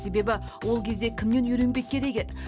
себебі ол кезде кімнен үйренбек керек еді